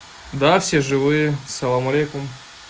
да все живые салам алейкум